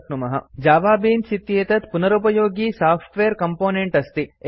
JavaBeans Java Beans Java Beans इत्येतत् पुनरुपयोगि software component अस्ति